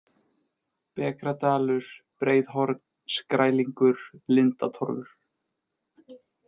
Bekradalur, Breiðhorn, Skrælingur, Lindatorfur